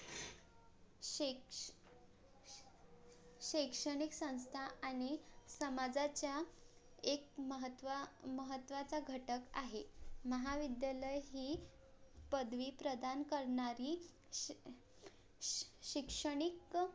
शैक्षणिकसंस्था आणि समाजाच्या एक महत्वा महत्वाचा घटक आहे महाविद्यालय ही पदवी प्रदान करणारी श शिक्षणिक